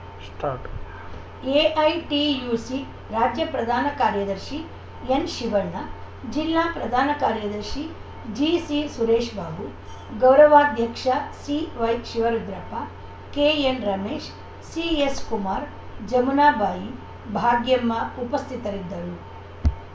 start AITUC ರಾಜ್ಯ ಪ್ರಧಾನ ಕಾರ್ಯದರ್ಶಿ ಎನ್‌ಶಿವಣ್ಣ ಜಿಲ್ಲಾ ಪ್ರಧಾನ ಕಾರ್ಯದರ್ಶಿ ಜಿಸಿ ಸುರೇಶ್‌ಬಾಬು ಗೌರವಾಧ್ಯಕ್ಷ ಸಿವೈ ಶಿವರುದ್ರಪ್ಪ ಕೆಎನ್‌ ರಮೇಶ್‌ ಎಸ್‌ಸಿ ಕುಮಾರ್‌ ಜಮುನಾ ಬಾಯಿ ಭಾಗ್ಯಮ್ಮ ಉಪಸ್ಥಿತರಿದ್ದರು